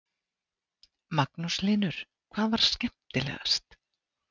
Magnús Hlynur: Hvað var skemmtilegast?